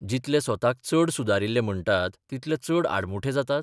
जितले स्वताक चड सुदारिल्ले म्हणटात तितले चड आडमुठे जातात?